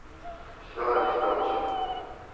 все адрес получил